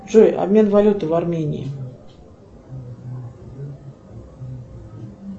джой обмен валюты в армении